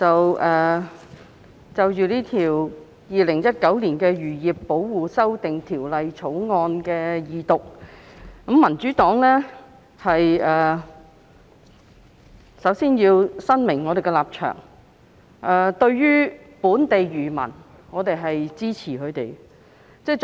代理主席，就着《2019年漁業保護條例草案》的二讀辯論，民主黨首先要表明立場，我們支持本地漁民。